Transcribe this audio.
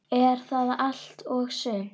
Er það allt og sumt?